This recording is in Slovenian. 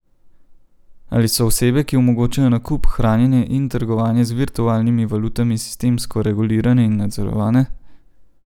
Ali so osebe, ki omogočajo nakup, hranjenje in trgovanje z virtualnimi valutami sistemsko regulirane in nadzorovane?